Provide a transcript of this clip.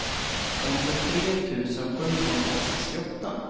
femtiotre tusen sjuhundrasextioåtta